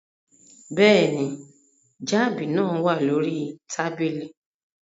Bẹ́ẹ̀ ni, jab náà wà lórí tábìlì